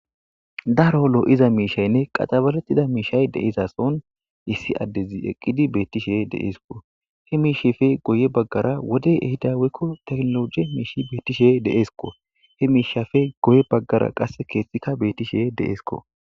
Daaro lo'za mishshayne qaxabaretida mishay deizason issi adezi eqqidi betishe de7esiko he misheppe guyye baggara wodey ehida woyko techinolojjey mishi betishe de7esiko he mishshappe guye baggara qasse keththika betishe de7esikko.